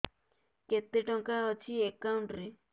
କେତେ ଟଙ୍କା ଅଛି ଏକାଉଣ୍ଟ୍ ରେ